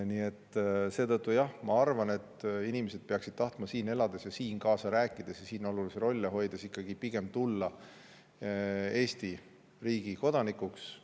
Nii et seetõttu ma arvan, et inimesed peaksid tahtma siin elades, siin kaasa rääkides ja siin olulisi rolle hoides pigem saada Eesti riigi kodanikuks.